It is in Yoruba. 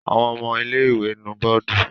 Àwọn ọmọ ilé-ìwé nu bọ́ọ́dù?